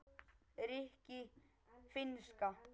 rikki- finnska